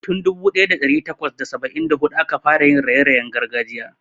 Tun dubu daya da dari takwas da saba'in da hudu aka fara yin raye-rayen gargajiya.